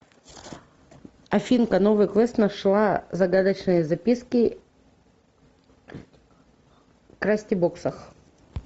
афинка новый квест нашла загадочные записки в крастибоксах